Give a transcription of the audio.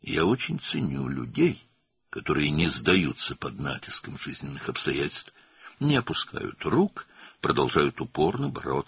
Mən həyatın çətinlikləri qarşısında təslim olmayan, əllərini sallamayan, inadla mübarizəni davam etdirən insanları çox qiymətləndirirəm.